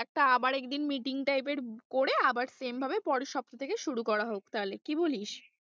একটা আবার একদিন meeting type এর করে আবার same ভাবে পরের সপ্তাহ থেকে শুরু করা হোক তাহলে কি বলিস?